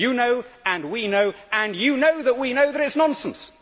You know, and we know, and you know that we know it is nonsense.